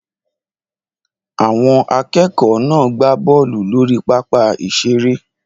Àwọn akẹ́kọ̀ọ́ náà gbá bọ́ọ̀lù lórí pápá ìṣeré